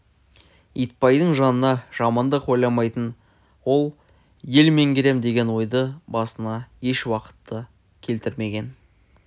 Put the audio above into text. итбайдың жанына жамандық ойламайтын ол ел меңгерем деген ойды басына еш уақытта келтірмеген